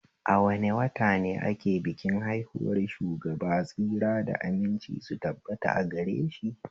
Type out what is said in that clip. A wane wata ne ake bikin haihuwar Shugaba tsira da aminci su tabbata agareshi?